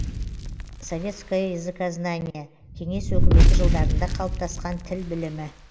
советское языкознание кеңес өкіметі жылдарында калыптаскан тіл білімі